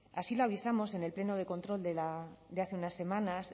así lo avisamos en el pleno de control de hace unas semanas